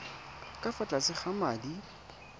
ka fa tlase ga madi